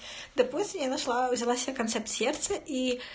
допустим я нашла взяла себе концепт сердце ии